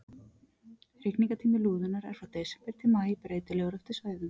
Hrygningartími lúðunnar er frá desember til maí, breytilegur eftir svæðum.